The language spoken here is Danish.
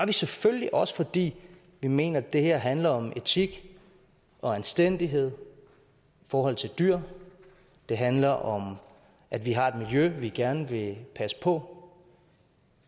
vi selvfølgelig også fordi vi mener at det her handler om etik og anstændighed i forhold til dyr det handler om at vi har et miljø vi gerne vil passe på